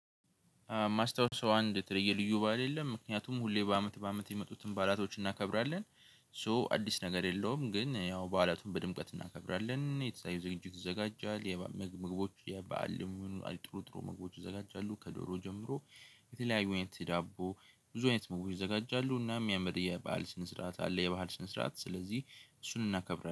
ማስታዉሰው አንድ የተለየ ልዩ ባል የለም ምክንያቱም ሁሌ በአመት በአመት የሚመጡትን ባላቶች እናከብራለን። ሶ አዲስ ነገር የለውም ግን ያው በዓላቱን በድምቀት እናከብራለን። የተያዙ ዝግጅት ይዘጋጃል። የምግቦች የበአል ልሙን አይጥሩ ጥሩ ምግቦች ይዘጋጃሉ። ከዶሮ ጀምሮ። የተለያዩ አይነት ዳቦ ብዙ አይነት ምግቦች ይዘጋጃሉ። እናም የሚያመድ የባህል ሽንስርዓት አለ። የባህል ሽንስርዓት ስለዚህ እሱን እናከብራለን